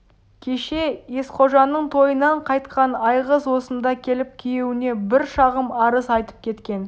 кеше есқожаның тойынан қайтқан айғыз осында келіп күйеуіне бір шағым арыз айтып кеткен